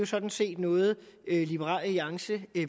sådan set noget liberal alliance